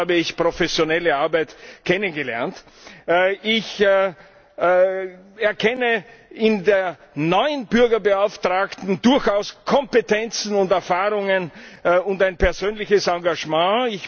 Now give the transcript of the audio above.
Auch dort habe ich professionelle Arbeit kennengelernt. Ich erkenne bei der neuen Bürgerbeauftragten durchaus Kompetenzen und Erfahrungen und ein persönliches Engagement.